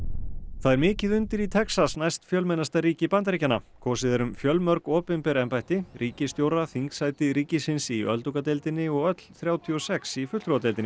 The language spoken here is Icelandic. það er mikið undir í Texas næstfjölmennasta ríki Bandaríkjanna kosið er um fjölmörg opinber embætti ríkisstjóra þingsæti ríkisins í öldungadeildinni og öll þrjátíu og sex í fulltrúadeildinni